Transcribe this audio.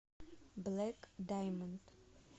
блэк даймонд